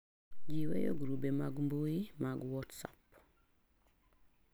Ji weyo grube mag mbui mar WhatsApp